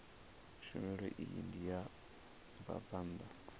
tshumelo iyi ndi ya vhabvann